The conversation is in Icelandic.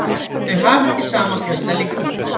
Þau hafa ekki sama fjölda litninga.